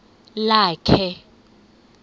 lakhe